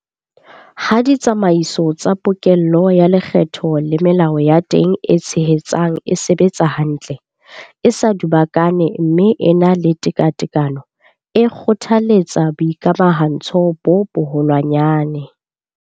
Ha ditsamaiso tsa pokello ya lekgetho le melao ya teng e tshehetsang e sebetsa hantle, e sa dubakana mme e na le tekatekano, e kgothaletsa boikamahantsho bo boholwanyane.